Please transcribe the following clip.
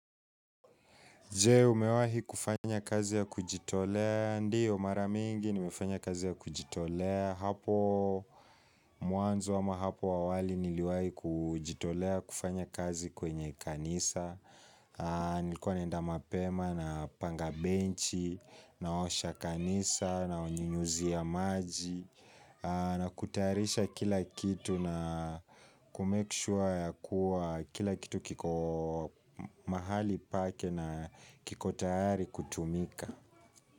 Je, umewahi kufanya kazi ya kujitolea? Ndiyo mara mingi nimefanya kazi ya kujitolea. Hapo muanzo ama hapo awali niliwahi kujitolea kufanya kazi kwenye kanisa, nilikuwa naenda mapema napanga benchi na osha kanisa na wanyunyizia maji na kutayarisha kila kitu na kumek sure ya kuwa kila kitu kiko mahali pake na kiko tayari kutumika.